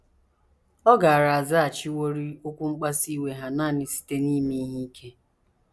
Ọ gaara azaghachiworị okwu mkpasu iwe ha nanị site n’ime ihe ike.